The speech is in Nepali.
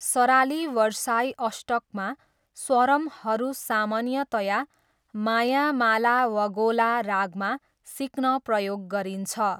सराली वरसाई अष्टकमा स्वरम्‌हरू सामान्यतया मायामालावगोला रागमा, सिक्न प्रयोग गरिन्छ।